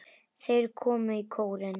Þeir komu í kórinn.